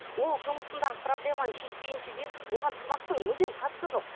ол жұмысындағы проблеманы шешпейінше оған тамақтың мүлдем қатысы жоқ